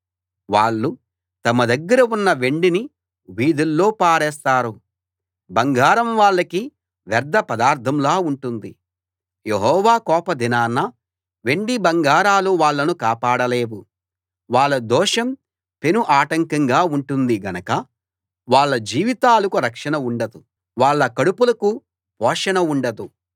వాళ్ళు తమ దగ్గర ఉన్న వెండిని వీధుల్లో పారేస్తారు బంగారం వాళ్లకి వ్యర్ధపదార్ధంలా ఉంటుంది యెహోవా కోప దినాన వెండిబంగారాలు వాళ్ళను కాపాడలేవు వాళ్ళ దోషం పెను ఆటంకంగా ఉంటుంది గనక వాళ్ళ జీవితాలకు రక్షణ ఉండదు వాళ్ళ కడుపులకు పోషణ ఉండదు